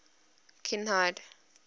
kinhide